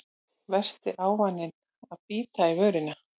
Versti ávaninn að bíta í vörina